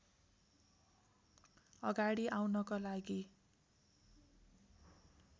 अगाडि आउनका लागि